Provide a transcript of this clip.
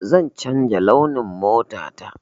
Zan canja launin mota ta.